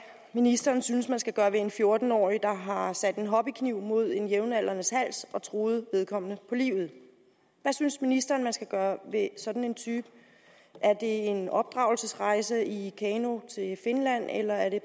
ministeren synes man skal gøre ved en fjorten årig der har sat en hobbykniv mod en jævnaldrendes hals og truet vedkommende på livet hvad synes ministeren man skal gøre ved sådan en type er det en genopdragelsesrejse i kano til finland eller er det